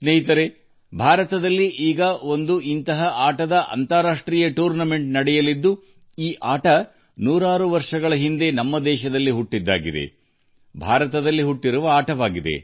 ಸ್ನೇಹಿತರೇ ನಮ್ಮದೇ ದೇಶದಲ್ಲಿ ಶತಮಾನಗಳ ಹಿಂದೆ ಜನ್ಮತಾಳಿದ ಆಟವೊಂದರ ಅಂತಾರಾಷ್ಟ್ರೀಯ ಪಂದ್ಯಾವಳಿಭಾರತದಲ್ಲಿ ನಡೆಯಲಿದೆ